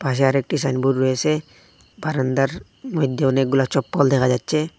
পাশে আরেকটি সাইনবোর্ড রয়েছে বারান্দার মধ্যে অনেকগুলা চপ্পল দেখা যাচ্ছে।